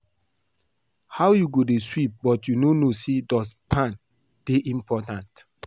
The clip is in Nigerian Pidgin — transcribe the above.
How you go dey sweep but you no know say dust pan dey important?